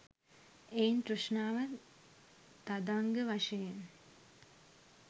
එයින් තෘෂ්ණාව තදංග වශයෙන්